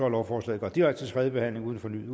lovforslaget går direkte til tredje behandling uden fornyet